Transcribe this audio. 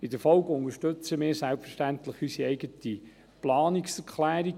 In der Folge unterstützen wir selbstverständlich unsere eigene Planungserklärung.